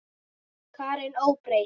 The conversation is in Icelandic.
Karen: Óbreytt?